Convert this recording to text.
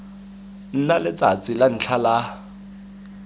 nna letsatsi la ntlha la